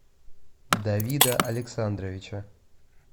давида александровича